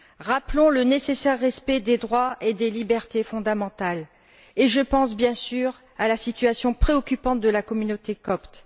Rappelons le nécessaire respect des droits et des libertés fondamentales je pense, bien sûr, à la situation préoccupante de la communauté copte.